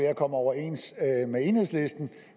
at komme overens med enhedslisten